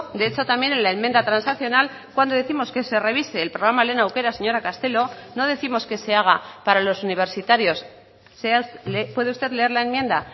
de hecho también en la enmienda transaccional cuando décimos que se revise el programa lehen aukera señora castelo no décimos que se haga para los universitarios puede usted leer la enmienda